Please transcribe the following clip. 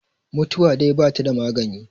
mutuwa dai ba ta da maganin